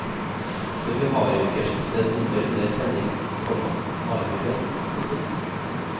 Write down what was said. For vi har jo ikke skiftet nummer under sending, komma har vi vel. punktum